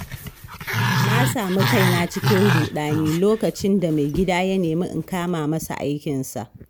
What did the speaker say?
Na sami kaina cikin ruɗani lokacin da maigida ya nemi in kama masa aikinsa.